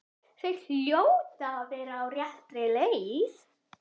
Þau hljóta að vera á réttri leið.